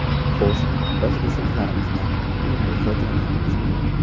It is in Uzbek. Xo‘sh, biz resurslarimizdan unumli foydalanyapmizmi?